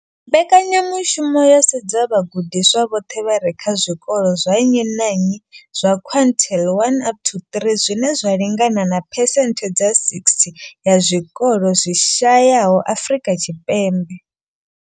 Mbekanyamushumo yo sedza vhagudiswa vhoṱhe vha re kha zwikolo zwa nnyi na nnyi zwa quintile 1 up to 3, zwine zwa lingana na phesenthe dza 60 ya zwikolo zwi shayaho Afrika Tshipembe.